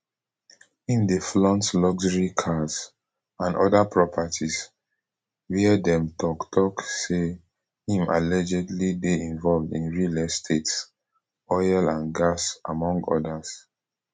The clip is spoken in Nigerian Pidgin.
im dey flaunt luxury cars and oda properties wia dem tok tok say im allegedly dey involved in real estates oil and gas among odas